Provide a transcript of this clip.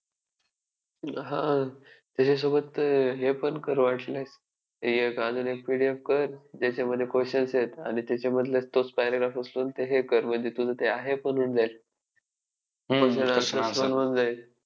महात्मा गांधींचे नाव आधी मोहन दास होते, नंतर ते वडिलांचे नाव जोडून मोहन दास करमचंद गांधी म्हणून ओ ओळखले जाऊ लागले. महा~